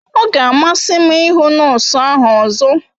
Ọ ga amasị m ịhụ nọọsụ ahụ ọzọ